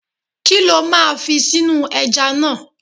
Kí lo máa fi sínú ẹja náà?